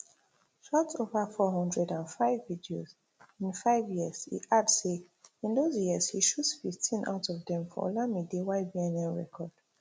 shot over four hundred and five videos in five years e add say in those years e shoot fifteen out of dem for olamide ybnl record